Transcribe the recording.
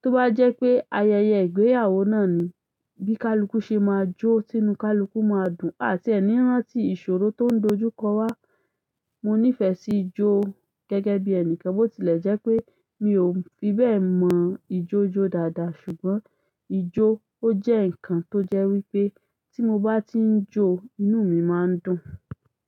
Tó bá jẹ́ pé ayẹyẹ ìgbéyàwó náà ni, bí kálúkú ṣe máa jó, tí nú kálúkú máa dùn, àtiẹ̀ní rántí ìṣòro tó ń dojú kọ wá. Mo nífẹ̀ẹ́ sí ijó gẹ́gẹ́ bí ẹni kan, bó tilẹ̀ jẹ́ pé mi ò fi bẹ́ẹ̀ mọ ìjó jó dáadáa. Ṣùgbọ́n ijó ó jẹ́ nǹkan tó jẹ́ wípé tí mo bá tí ń jó, inú mi máa ń dùn.